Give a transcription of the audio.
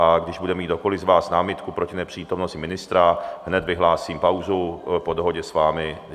A když bude mít kdokoli z vás námitky proti nepřítomnosti ministra, hned vyhlásím pauzu po dohodě s vámi.